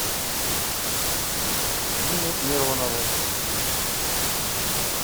диме миронову